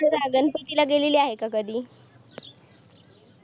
गणपती ला गेलेली आहे का कधी